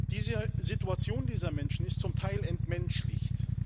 Die Situation dieser Menschen ist zum Teil entmenschlicht.